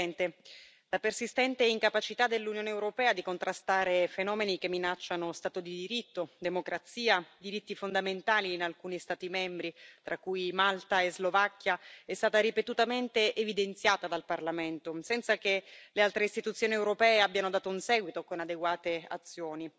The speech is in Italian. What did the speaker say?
Signor Presidente, onorevoli colleghi, la persistente incapacità dell'Unione europea di contrastare fenomeni che minacciano stato di diritto, democrazia, diritti fondamentali in alcuni Stati membri, tra cui Malta e Slovacchia, è stata ripetutamente evidenziata dal Parlamento, senza che le altre istituzioni europee abbiano dato un seguito con adeguate azioni.